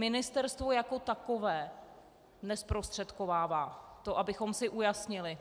Ministerstvo jako takové nezprostředkovává, to abychom si ujasnili.